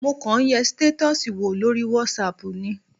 Mo kọ̀ ń yẹ stétọ́ọ̀sì wò lórí whatsapp ni.